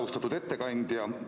Austatud ettekandja!